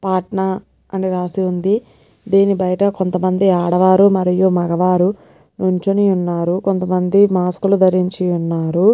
పాట్నా అని రాసి ఉందిదీని బయట కొంతమంది ఆడవారు మరియు మనవారు నుంచొని ఉన్నారుకొంతమంది మాస్క్ లు ధరించు ఉన్నారు.